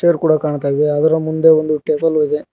ರು ಕೂಡ ಕಾಣ್ತಾ ಇವೆ ಅದರ ಮುಂದೆ ಒಂದು ಟೇಬಲು ಇದೆ.